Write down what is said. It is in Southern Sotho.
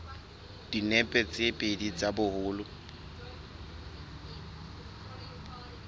dinepe tse pedi tsa boholo